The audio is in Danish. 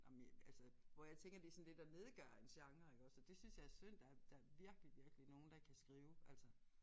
Ej men jeg altså hvor jeg tænker det sådan lidt at nedgøre en genre iggås og det synes jeg er synd der er der er virkelig virkelig nogle der kan skrive altså